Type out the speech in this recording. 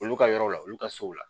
Olu ka yɔrɔ la olu ka sow la